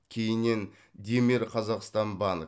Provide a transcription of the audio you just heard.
кейіннен демир қазақстан банк